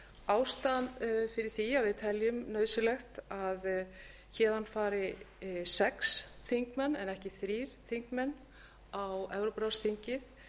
ástæðan fyrir því að við teljum nauðsynlegt að héðan fari sex þingmenn en ekki þrír þingmenn á evrópuráðsþingið